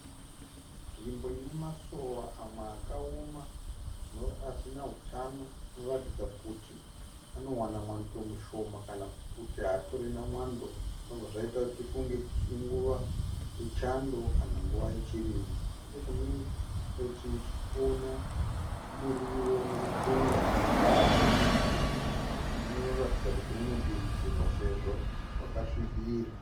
Nzvimbo ine Masora amwe akaoma asina hutano. Anoratidza kuti anowana nwando mushoma mamwe haatorina zvobva zvaita kuti tifunge kuti inguva yechando kana nguva yechirimo. Nechekune rimwerutivi tirikuona murio wetsunga unoratidza kuti unodiridzirwa sezvo wakasvibira